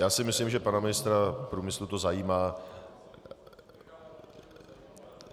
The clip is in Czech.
Já si myslím, že pana ministra průmyslu to zajímá.